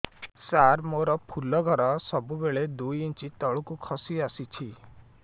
ସାର ମୋର ଫୁଲ ଘର ସବୁ ବେଳେ ଦୁଇ ଇଞ୍ଚ ତଳକୁ ଖସି ଆସିଛି